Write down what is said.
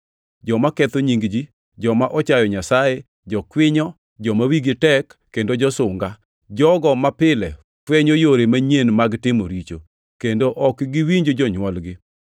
joma ketho nying ji, joma ochayo Nyasaye, jokwinyo, joma wigi tek, kendo josunga, jogo mapile fwenyo yore manyien mag timo richo; kendo ok giwinj jonywolgi;